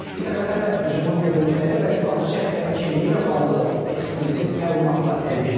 İTV xəbər hücumun görüntüləri və silahlı şəxslərin kimliyi ilə bağlı eksklüziv məlumatlar əldə edib.